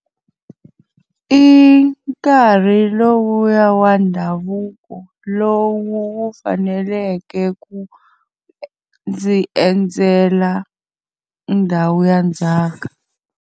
I nkarhi lowu ya wa ndhavuko lowu wu faneleke ku ndzi endzela ndhawu ya ndzhaka.